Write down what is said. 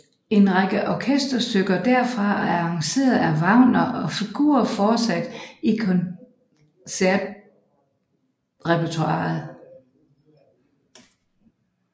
En række orkesterstykker derfra er arrangeret af Wagner og figurerer fortsat i koncertrepertoiret